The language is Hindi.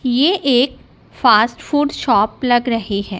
ये एक फास्ट फूड शॉप लग रही है।